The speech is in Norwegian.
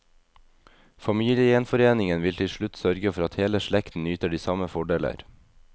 Familiegjenforeningen vil til slutt sørge for at hele slekten nyter de samme fordeler.